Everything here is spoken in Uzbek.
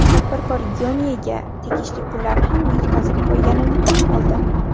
Tadbirkor Gionee’ga tegishli pullarni ham yutqazib qo‘yganini tan oldi.